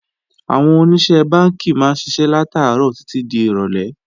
Àwọn Oníṣẹ́ Bánkì máa ń ṣiṣẹ́ látàárọ̀ títí di ìrọ̀lé